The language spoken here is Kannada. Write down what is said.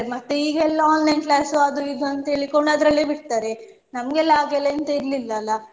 ಮತ್ತೆ ಈಗ ಎಲ್ಲ online class ಅದು ಇದು ಅಂತ ಹೇಳ್ಕೊಂಡ್ ಅದರಲ್ಲೆ ಬಿಡ್ತಾರೆ ನಮಗೆಲ್ಲ ಹಾಗೆ ಎಲ್ಲ ಎಂತ ಇರ್ಲಿಲ್ಲ ಅಲ್ಲ.